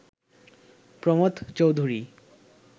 Pramatha Chowdhury